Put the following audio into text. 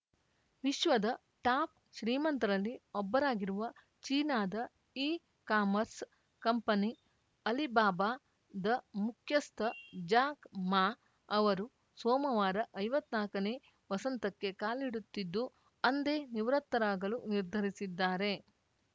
ವಿಶ್ವದ ಟಾಪ್‌ ಶ್ರೀಮಂತರಲ್ಲಿ ಒಬ್ಬರಾಗಿರುವ ಚೀನಾದ ಇಕಾಮರ್ಸ್‌ ಕಂಪನಿ ಅಲಿಬಾಬಾದ ಮುಖ್ಯಸ್ಥ ಜಾಕ್‌ ಮಾ ಅವರು ಸೋಮವಾರ ಐವತ್ ನಾಕನೇ ವಸಂತಕ್ಕೆ ಕಾಲಿಡುತ್ತಿದ್ದು ಅಂದೇ ನಿವೃತ್ತರಾಗಲು ನಿರ್ಧರಿಸಿದ್ದಾರೆ